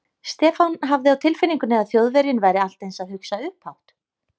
Stefán hafði á tilfinningunni að Þjóðverjinn væri allt eins að hugsa upphátt.